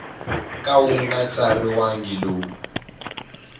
ka wu nga tsariwangi lowu